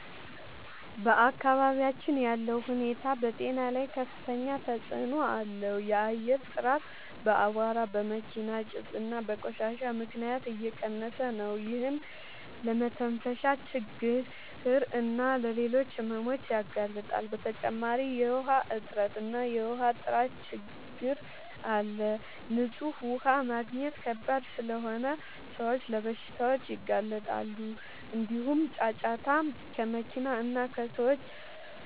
በአካባቢያችን ያለው ሁኔታ በጤና ላይ ከፍተኛ ተጽዕኖ አለው። የአየር ጥራት በአቧራ፣ በመኪና ጭስ እና በቆሻሻ ምክንያት እየቀነሰ ነው፤ ይህም ለመተንፈሻ ችግኝ እና ለሌሎች ሕመሞች ያጋልጣል። በተጨማሪ የውሃ እጥረት እና የውሃ ጥራት ችግኝ አለ፤ ንጹህ ውሃ ማግኘት ከባድ ስለሆነ ሰዎች ለበሽታዎች ይጋለጣሉ። እንዲሁም ጫጫታ ከመኪና እና ከሰዎች